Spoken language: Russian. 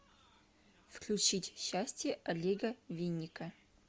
включить счастье олега винника